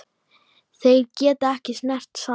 Þeir geta ekkert sannað.